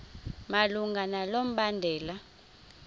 malunga nalo mbandela